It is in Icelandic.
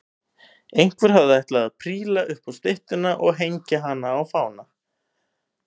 Einhver hafði ætlað að príla upp á styttuna og hengja á hana fána.